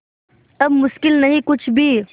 अब मुश्किल नहीं कुछ भी